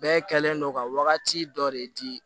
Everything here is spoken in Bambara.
Bɛɛ kɛlen don ka wagati dɔ de di